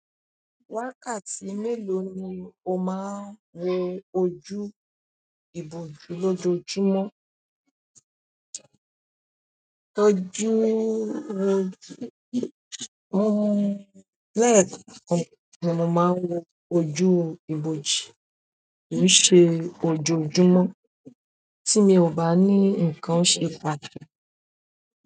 Wákàtí mélòó ni o máa ń wo ojú ibòjú lọ́jọ́júmọ́? Lẹ́ẹ̀kan ni mo máa ń wo ojú ibòjú, kì í ṣe ojoojúmọ́ tí mi o bá ní ǹkan ṣe pà-